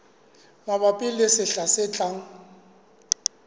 mabapi le sehla se tlang